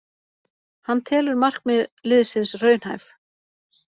Hann telur markmið liðsins raunhæf